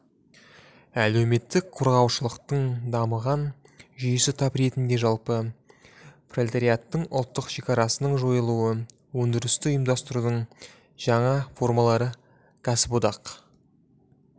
әлеуметтік қорғалушылықтың дамыған жүйесі тап ретінде жалпы пролетариаттың ұлттық шекарасының жойылуы өндірісті ұйымдастырудың жаңа формалары кәсіподақ